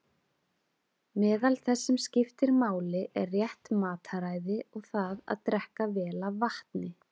Meðal þess sem skiptir máli er rétt mataræði og það að drekka vel af vatni.